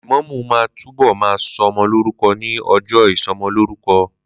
Lẹ̀mọ́mú ma túbọ̀ ma sọmọ lórúkọ ní ọjọ́ ìsọmọlórúkọ